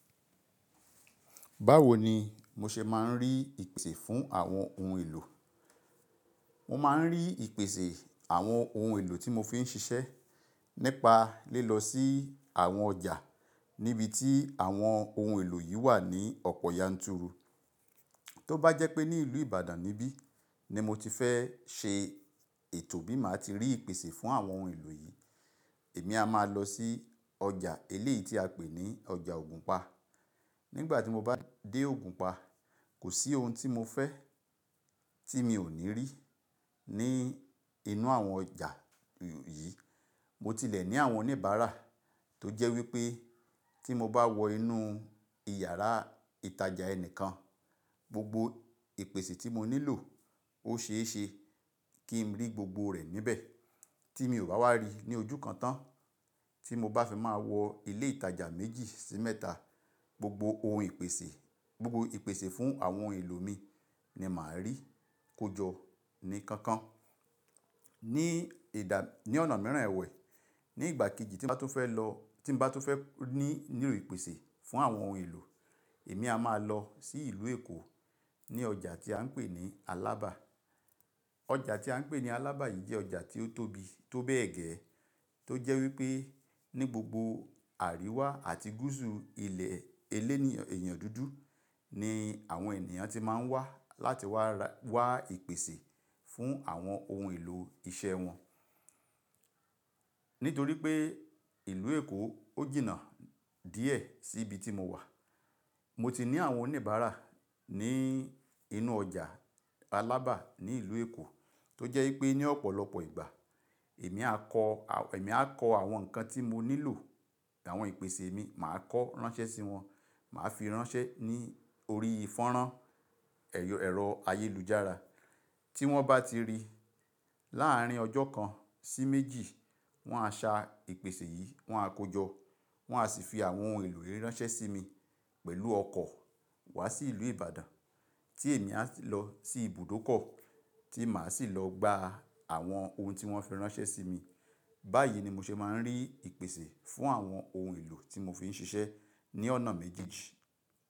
Báwo ni mo ṣe máa ń rí ìpèsè fún àwọn ohun èlò? Mo máa ń rí ìpèsè àwọn ohun èlò tí mo fi ń ṣiṣẹ́ nípa lilọ sí àwọn ọjà níbi tí àwọn ohun èlò yìí wà ní ọ̀pọ̀ yanturu. Tó bá jẹ́ pé ní ìlú Ìbàdàn níbí ni mo ti fẹ́ ṣe ètò bí máa ti rí ìpèsè fún àwọn ohun èlò yìí, èmi a máa lọ sí ọjà eléyìí tí a pè ní ọjà Ògùnpa. Nígbà tí mo bá dé Ògùnpa, kò sí ohun tí mo fẹ́ tí mi ò ní rí ní inú àwọn ọjà yìí. Mo tilẹ̀ ní àwọn oníbàárà tó jẹ́ wípé tí mo bá wọ inú ìyàrá ìtajà ẹnìkan, gbogbo ìpèsè tí mo nílò ó ṣee ṣe kí n rí gbogbo rẹ̀ níbẹ̀ tí mi ò bá wá rí ní ojú kan tán. Tí mo bá fi máa wọ ilé ìtajà méjì sí mẹ́ta, gbogbo ohun ìpèsè, gbogbo ìpèsè fún àwọn ohun èlò mi ni màá rí kojọ ní kankan. Ní ọ̀nà mìíràn ẹ̀wẹ̀, ní ìgbà kejì tí mo bá tun fẹ́ lọ, tí mo bá tun fẹ́ ní new ìpèsè fún àwọn ohun èlò, èmi a máa lọ sí ìlú Èkó ní ọjà tí à ń pè ní Alábà. Ọjà tí à ń pè ní Alábà yìí jẹ́ ọjà tí ó tóbi tó bẹ́ẹ̀ gẹ́ tó jẹ́ wípé ní gbogbo àríwá àti gúúsù ilẹ̀ elénìyàn, eyan dúdú ni àwọn ènìyàn ti máa ń wá láti wá ra, wá ìpèsè fún àwọn ohun èlò iṣeẹ́ wọn. Nítorí pé ìlú Èkó ó jìnnà díẹ̀ sí ibi tí mo wà, mo ti ní àwọn oníbàárà ní inú ọjà Alábà ní ìlú Èkó tó jẹ́ wípé ní ọ̀pọ̀lọpọ̀ ìgbà emi a ko èmi a kọ àwọn ǹkan tí mo nílò, àwọn ìpèsè mi, màá kọo ránṣẹ́ sí wọn, màá fi ránṣẹ́ ní orí fanran ẹ̀rọ ayélujára. Tí wọ́n bá ti rí láàárín ọjọ́ kan sí méjì, wọ́n á sa ìpèsè yìí, wọ́n á kojọ, wọ́n á sì fi àwọn ohun èlò yìí ránṣẹ́ sí mi pẹ̀lú ọkọ̀ wá sí ìlú Ìbàdàn tí èmi á sì lọ sí ibùdókọ̀ tí màá sì lọ gba àwọn ohun tí wọ́n fi ránṣẹ́ sí mi. Báyìí ni mo ṣe máa ń rí ìpèsè fún àwọn ohun èlò tí mo fi ń ṣiṣẹ́ ní ọ̀nà méjèèjì.